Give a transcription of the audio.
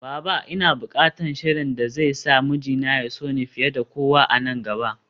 Baba! Ina bukatan sihirin da zai sa mijina ya so ni fiye da kowa a nan gaba